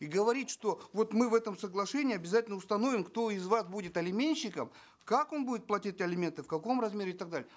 и говорить что вот мы в этом соглашении обязательно установим кто из вас будет алиментщиком как он будет платить алименты в каком размере и так далее